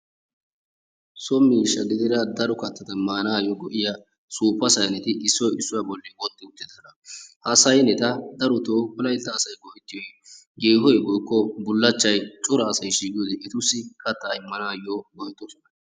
So miishsha gidida daro kattaa maanayo go'iya suuppa sayneti issoy issuwa bolli utti uttidoosona. Ha sayneta darotoo wolaytta asay go'ettiyoy yeehoy woykko bullachchay cora asay shiiqiyode etussi kattaa immanaayo go'ettoosona.